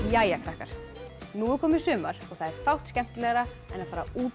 jæja krakkar nú er komið sumar og það er fátt skemmtilegra en að fara út